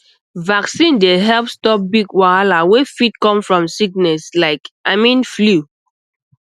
vaccine dey help stop big wahala wey fit come from sickness like i mean flu